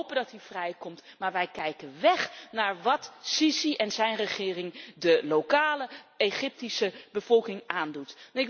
We hopen dat hij vrijkomt, maar wij kijken weg van wat el Sisi en zijn regering de lokale Egyptische bevolking aandoet.